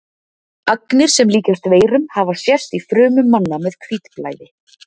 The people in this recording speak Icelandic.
Agnir sem líkjast veirum hafa sést í frumum manna með hvítblæði.